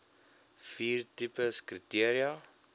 vier tipes kriteria